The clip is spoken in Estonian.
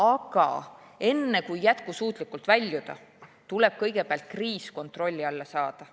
Aga enne, kui jätkusuutlikult väljuda, tuleb kõigepealt kriis kontrolli alla saada.